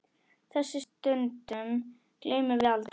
Þessum stundum gleymum við aldrei.